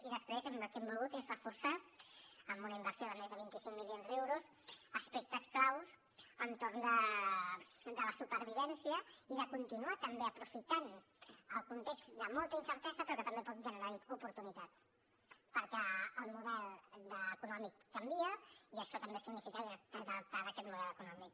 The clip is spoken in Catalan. i després el que hem volgut és reforçar amb una inversió de més de vint cinc milions d’euros aspectes claus entorn de la supervivència i de continuar també aprofitant el context de molta incertesa però que també pot generar oportunitats perquè el model econòmic canvia i això també significa que t’has d’adaptar a aquest model econòmic